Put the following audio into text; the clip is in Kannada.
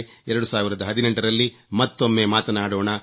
2018 ರಲ್ಲಿ ಮತ್ತೊಮ್ಮೆ ಮಾತನಾಡೋಣ